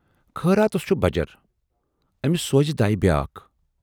خٲراتس چھُ بجر! ٲمِس سوزِ دَے بیاکھ۔